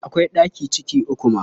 Akwai ɗaki ciki uku ma.